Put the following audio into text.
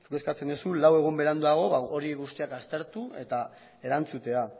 zuk dezu lauegun beranduago horiek guztiak aztertu eta erantzutea